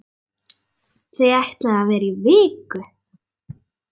Þau ætluðu að vera í viku.